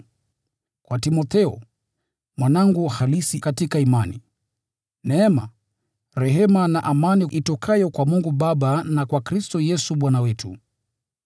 Kwa Timotheo, mwanangu halisi katika imani: Neema, rehema na amani itokayo kwa Mungu Baba na kwa Kristo Yesu Bwana wetu.